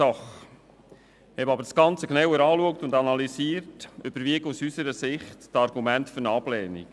Betrachtet und analysiert man aber das Ganze, überwiegen aus unserer Sicht die Argumente für eine Ablehnung.